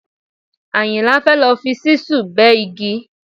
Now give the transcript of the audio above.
Àyìnlá fẹ́ lọ fi ṣíṣù gbẹ́ igi